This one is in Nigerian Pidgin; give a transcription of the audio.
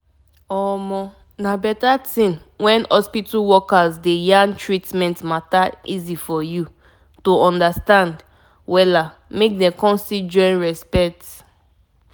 people must rate how your hospital or clinic take treatment them so that dem go gain from the care wey hospital and clinic dey give